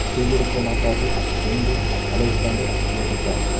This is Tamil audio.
செய்திருக்கமாட்டார்கள் என்றும் அலெக்ஸாண்டர் குறிப்பிட்டார்